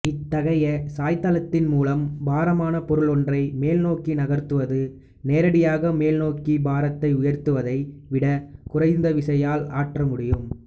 இத்தகைய சாய்தளத்தின் மூலம் பாரமான பொருளொன்றை மேல்நோக்கி நகர்த்துவது நேரடியாக மேல்நோக்கி பாரத்தை உயர்த்துவதை விட குறைந்த விசையால் ஆற்றமுடியும்